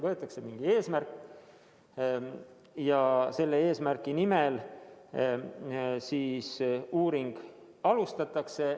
Võetakse mingi eesmärk ja selle eesmärgi nimel siis uuringut alustatakse.